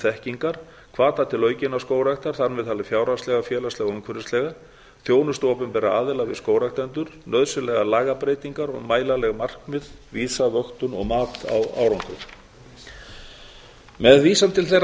þekkingar d hvata til aukinnar skógræktar þar með talin fjárhagslega félagslega og umhverfislega e þjónustu opinberra aðila við skógræktendur f nauðsynlegar lagabreytingar g mælanleg markmið vísa vöktun og mat á árangri með vísan til þeirra